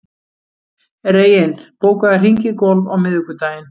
Reginn, bókaðu hring í golf á miðvikudaginn.